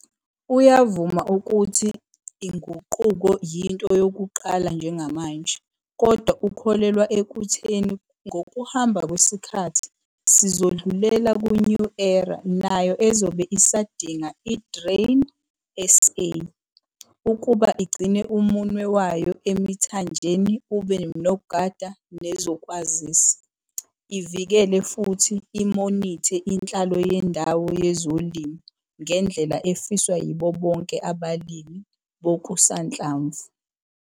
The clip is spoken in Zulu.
Uyakuvuma ukuthi uguquko yinto yokuqala njengamanje kodwa ukholelwa ekutheni ngokuhamba kwesikhathi sizodlulela ku-new era nayo ezobe isadinga i-Grain SA ukuba igcine umunwe wayo emithanjeni ube nogada nezokwazisa, ivikele futhi imonithe inhlalo yendawo yezolimo ngendlela efiswa yibo Bonke abalimi bokusanhlamvu.